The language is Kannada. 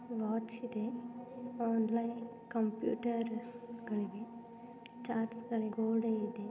ವಾಚಿದೆ ಲೈಕ್ ಕಂಪ್ಯೂಟರ್ ಗಳಿವೆ ಚಾಟ್ಸ್ಗಳು ಗೋಡೆ ಇದೆ.